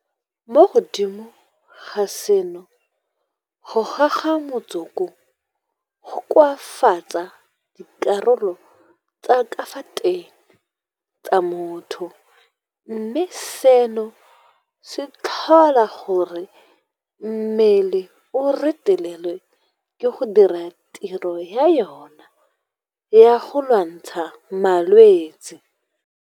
Mo godimo ga seno, go goga motsoko go koafatsa dikarolo tsa ka fa teng tsa motho mme seno se tlhola gore mmele o retelelwe ke go dira tiro ya yona ya go lwantshana le malwetse.